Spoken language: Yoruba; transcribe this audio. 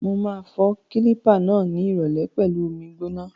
Mo ma fọ kílípà náà ni ìrọ̀lẹ́ pẹlu omi gbóná.